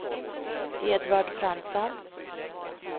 Edvard Fransson